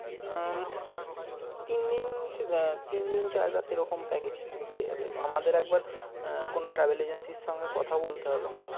হম তিনদিন চার রাত এরকম package তুমি পেয়ে যাবে তো আমাদের একবার আহ কোন travel agency এর সাথে কথা বলতে হবে।